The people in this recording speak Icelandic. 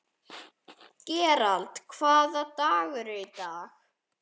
Gerald, hvaða dagur er í dag?